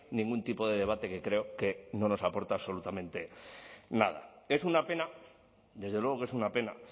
ningún tipo de debate que creo que no nos aporta absolutamente nada es una pena desde luego que es una pena